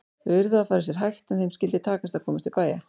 Þau yrðu að fara sér hægt en þeim skyldi takast að komast til bæja!